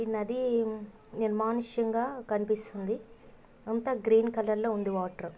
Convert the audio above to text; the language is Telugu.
ఈ నది నిర్మానుష్యంగా కనిపిస్తుంద అంతా గ్రీన్ కలర్ లో ఉందివాటర్